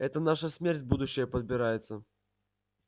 это наша смерть будущая подбирается